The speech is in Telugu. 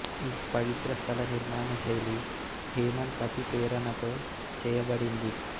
ఈ పవిత్ర స్థల నిర్మాణ శైలి హేమండ్ పతి ప్రేరణతో చేయబడింది